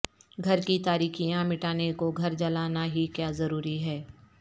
گھر کی تاریکیاں مٹانے کو گھر جلانا ہی کیا ضروری ہے